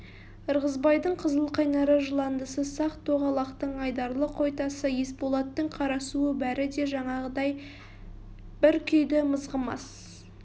ырғызбайдың қызыл қайнары жыландысы сақ-тоғалақтың айдарлы қойтасы есболаттың қарасуы бәрі де жаңағыдай бір күйді мызғымас